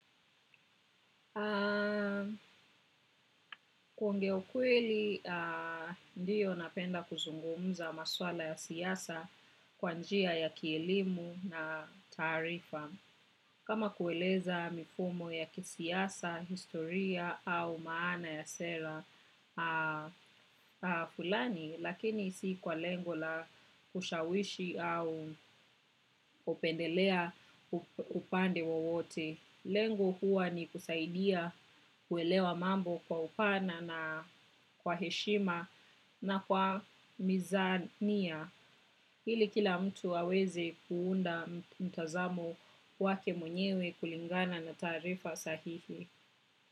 Kuongea ukweli, ndiyo napenda kuzungumuza maswala ya siasa kwa njia ya kielimu na taarifa. Kama kueleza mifumo ya kisiasa, historia au maana ya sera, fulani, lakini si kwa lengo la kushawishi au kupendelea upande wowote. Lengo huwa ni kusaidia kuelewa mambo kwa upana na kwa heshima na kwa mizani ya. Hili kila mtu aweze kuunda mtazamo wake mwenyewe kulingana na taarifa sahihi.